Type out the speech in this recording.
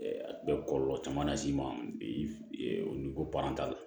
A bɛ kɔlɔlɔ caman las'i ma bi o ni ko t'a la